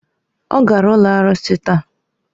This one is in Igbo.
Ọ gara ụlọ arụsị taa.